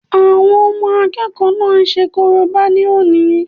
Àwọn ọmọ àkẹ́kọ̀ọ́ náà ṣe korobá ní òní